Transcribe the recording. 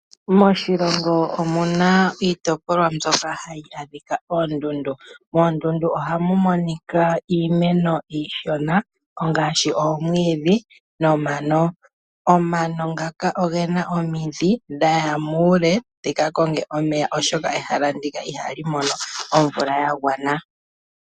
Moshilongo omu na iitopolwa mbyoka hayi adhika oondundu. Moondundu oha mu monika iimeno iishona ngaashi oomwiidhi nomano. Omano ngaka ogena omidhi dha ya muule dhika konge omeya, oshoka ehala ndika ihali mono omvula ya gwana.